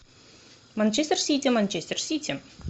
манчестер сити манчестер сити